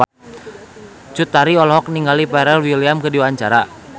Cut Tari olohok ningali Pharrell Williams keur diwawancara